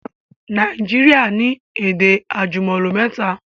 Naijiria ni èdè àjùmọ̀lò mẹ́ta